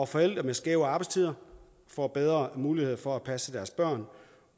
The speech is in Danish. forældre med skæve arbejdstider får bedre muligheder for at få passet deres børn